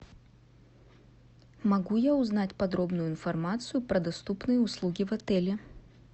могу я узнать подробную информацию про доступные услуги в отеле